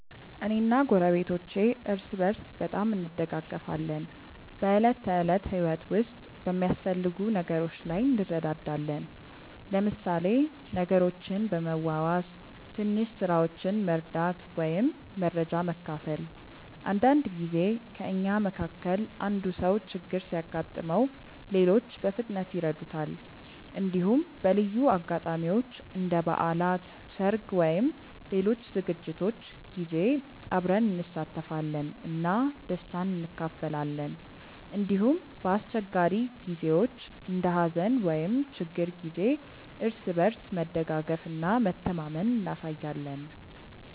እኔ እና ጎረቤቶቼ እርስ በርስ በጣም እንደጋገፋለን። በዕለት ተዕለት ህይወት ውስጥ በሚያስፈልጉ ነገሮች ላይ እንረዳዳለን፣ ለምሳሌ ነገሮችን በመዋዋስ፣ ትንሽ ስራዎችን መርዳት ወይም መረጃ መካፈል። አንዳንድ ጊዜ ከእኛ መካከል አንዱ ሰው ችግር ሲያጋጥመው ሌሎች በፍጥነት ይረዱታል። እንዲሁም በልዩ አጋጣሚዎች እንደ በዓላት፣ ሰርግ ወይም ሌሎች ዝግጅቶች ጊዜ አብረን እንሳተፋለን እና ደስታን እንካፈላለን። እንዲሁም በአስቸጋሪ ጊዜዎች እንደ ሀዘን ወይም ችግር ጊዜ እርስ በርስ መደጋገፍ እና መተማመን እናሳያለን።